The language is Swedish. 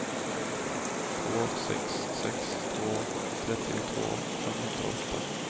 två sex sex två trettiotvå femhundraåtta